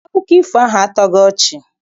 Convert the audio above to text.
Akụkọ ifo ahụ a tọghị ọchị.